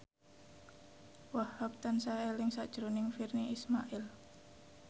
Wahhab tansah eling sakjroning Virnie Ismail